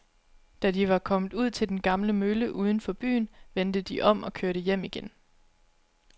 Da de var kommet ud til den gamle mølle uden for byen, vendte de om og kørte hjem igen.